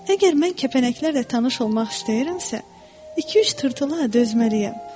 Əgər mən kəpənəklərlə tanış olmaq istəyirəmsə, iki-üç tırtıla dözməliyəm.